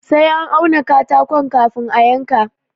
Sai an auna katako kafin a yanka.